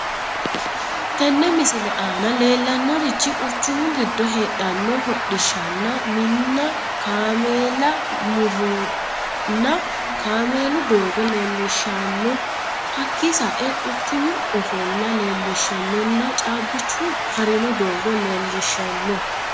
Teene misile anna lellanorich quuchumu giddo hedhano hoodhishshana minna kaamela murronna kaamellu doggo lelishshano hakki sa'e quuchumu Ofoola lelishshanonna caabichu harino doogo lelishshano